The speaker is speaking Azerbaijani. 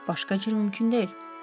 Başqa cür mümkün deyil.